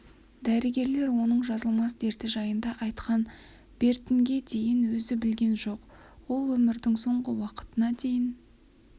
дәрігерлер оның жазылмас дерті жайында айтқан бертінге дейін өзі білген жоқ ол өмірінің соңғы уақытына дейін